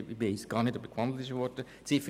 Ich weiss gar nicht, ob gewandelt worden ist.